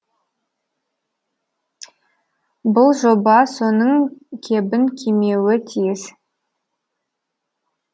бұл жоба соның кебін кимеуі тиіс